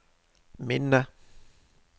minne